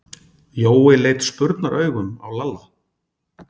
Jói leit spurnaraugum á Lalla.